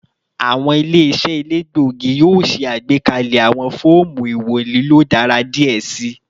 Awọn ile-iṣẹ elegbogi yoo ṣe agbekalẹ awọn fọọmu iwọn lilo daradara diẹ sii